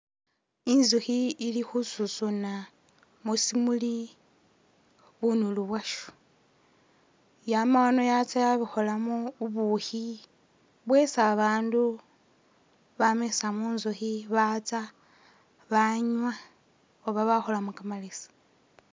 Inzukhi ili khususuna musimuli bunulu bwasho, yama ano yatsa yabukholamo ubukhi bwesi ba bandu bamisa munzukhi batsa banywa oba bakholamo kamalesi.